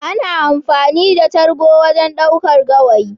Ana amfani da cargo wajen ɗaukar gawayi.